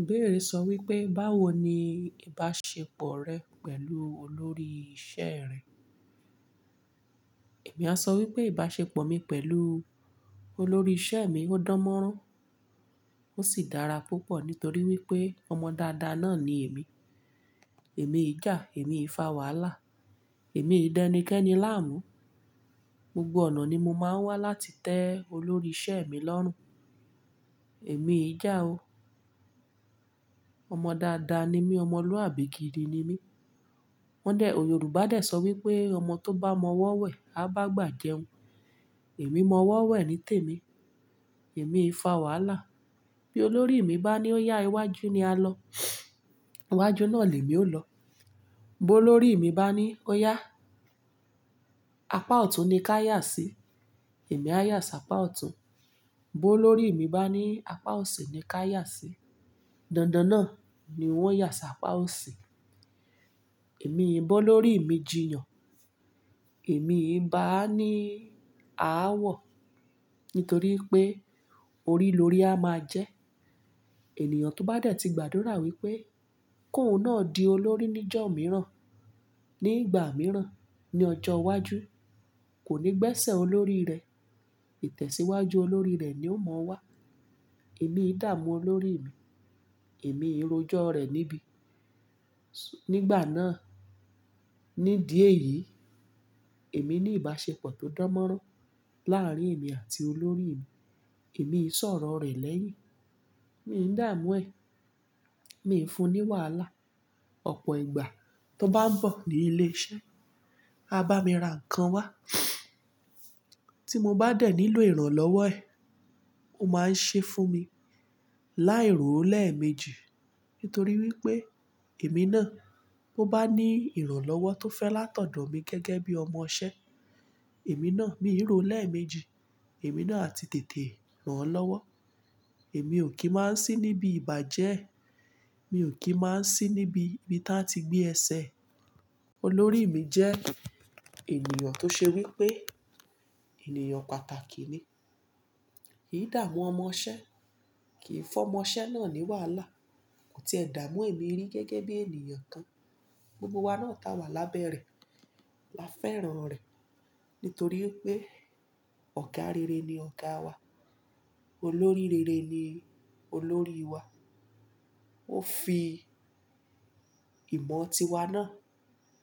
Ìbéèrè sọ wípé báwo ni ìbáṣepọ̀ rẹ pẹ̀lú olórí ìṣe rẹ. Èmi á sọ wípé ìbáṣepọ̀ mi pẹ̀lú olórí ìṣe mi ó dánmọ́rán, ó sì dára púpọ̀ nítorí wípé ọmọ dáadáa náà ni èmi. Èmi ìjà, èmi ìfàwàlá, èmi ìdáníkẹ́ni láàmú. Gbogbo ọ̀nà ni mo máa ń wá láti tẹ olórí ìṣe mi lọ́rùn. Èmi ìjà o. Ọmọ dáadáa ni mí, ọmọlúàbí gidi ni mí. Wọ́n dè, Yorùbá dè sọ wípé "ọmọ tó bá mọwọ́ wẹ̀, á bágbà jẹun." Èmi mọwọ́ wẹ̀ nítèmi, èmi ìfàwàlá. Bí olórí mi bá ní ó yá iwájú ni á lọ, iwájú náà ní mi ó lọ. Bí olórí mi bá ní ó yá apá ọ̀tún ni ká yà sí, èmi á yà sí apá ọ̀tún. Bí olórí mi bá ní apá òsì ni ká yà sí, dandan náà ni wọ́n yà sí apá òsì. Èmi ìbọ olórí mi jiyàn, èmi ìbá a ní ààwọ̀ nítorí pé orí lórí a máa jẹ. Ènìyàn tó bá dẹ̀ ti gbàdúrà wípé kòún náà di olórí níjọ́ mìíràn, ní ìgbà mìíràn, ní ọjọ́ iwájú, kò ní gbẹ̀sẹ̀ olórí rẹ̀. Tẹ̀síwájú olórí rẹ̀ ni ó mọ wá. Èmi ìdààmú olórí mi, èmi ìrójọ́ rẹ̀ níbí. Nígbà náà, nídi èyí, èmi ní ìbáṣepọ̀ tó dánmọ́rán láàárín èmi àti olórí mi. Èmi ìsọ̀rọ̀ rẹ̀ lẹ́yìn, mi ń dààmú ẹ̀, mi ń fun ní wàhálà. Ọ̀pọ̀ ìgbà tó bá ń bọ̀ ní ilé iṣẹ́, á bá mi ra nǹkan wá. Tí mo bá dẹ̀ nílò ìrànlọ́wọ́ ẹ̀, ó máa ń ṣe fún mi. Láì ròó lẹ́ẹ̀mejì nítorí wípé èmi náà tó bá ní ìrànlọ́wọ́ tó fẹ́ látọ̀dọ̀ mi gẹ́gẹ́ bí ọmọṣẹ́, èmi náà mi ròó lẹ́ẹ̀mejì. Èmi náà àti tètè ràn án lọ́wọ́. Èmi ò kí máa ń sí níbi ìbàjẹ́, mi ò kí máa ń sí níbi ta ti gbé ẹsẹ̀. Olórí mi jẹ́ ènìyàn tó ṣe wípé ènìyàn pàtàkì ni. Í dààmú ọmọṣẹ́ kì í fọ́ ọmọṣẹ́ náà ní wàhálà. Ó ti ẹ̀ dààmú èmi rí gẹ́gẹ́ bí ènìyàn kan. Gbogbo wa náà ta wà lábẹ́ rẹ̀. La fẹ́ràn rẹ̀ nítorí wípé ọ̀gá rere ni ọ̀gáa wa. Olórí rere ni olórí wa. Ó fi ìmọ̀ tiwa náà,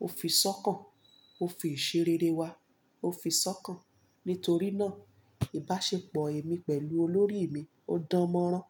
ó fi sọ́kàn, ó fi ìṣeréré wa, ó fi sọ́kàn. Nítorí náà ìbáṣepọ̀ èmi pẹ̀lú olórí mi ó dánmọ́rán.